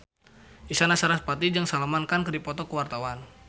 Isyana Sarasvati jeung Salman Khan keur dipoto ku wartawan